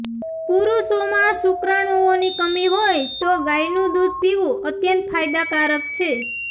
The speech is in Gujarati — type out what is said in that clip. પુરુષોમાં શુક્રાણુઓની કમી હોય તો ગાયનુ દુધ પીવુ અત્યંત ફાયદાકારક છે